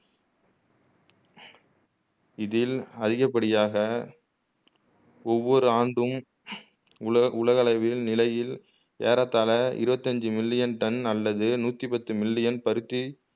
இதில் அதிகப் படியாக ஒவ்வொரு ஆண்டும் உல உலகளவில் நிலையில் ஏறத்தாழ இருவத்தஞ்சு மில்லியன் டன் அல்லது நூத்திப்பத்து மில்லியன் பருத்தி